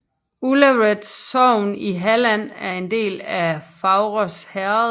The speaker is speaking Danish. Ullared sogn i Halland var en del af Faurås herred